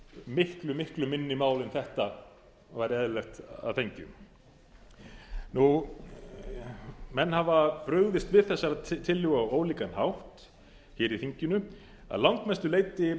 miklu miklu minni mál en þetta væri eðlilegt að fengju menn hafa brugðist við þessari tillögu á ólíkan hátt hér í þinginu að langmestu leyti